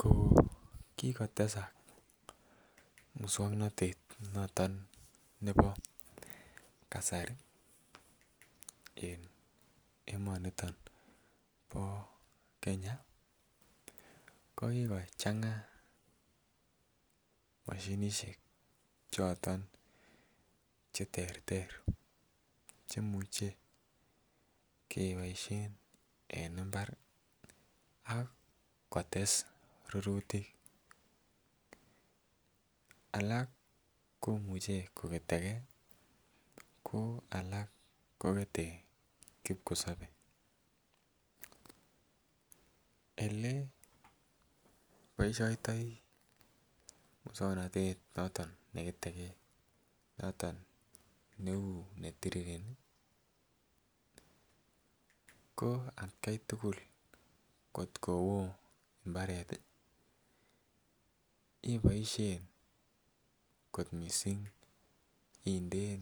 Ko kikotesak muswoknotet noto nebo kasari en emoniton bo Kenya ko kikochenga moshinishek choton cheterter cheimuche keboishen en imbar ak kotes rurutik, alak komuche koketegee ko alak kongeten kipkosobe. Ele boishoniton muswoknotet noton neketegee noto neu netirireni ko atgai tukul kotko woo mbaret iboishen kot missing indeen